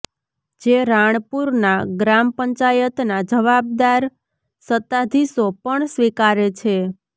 જે રાણપુરના ગ્રામ પંચાયતના જવાબદાર સત્તાધીશો પણ સ્વીકારે છે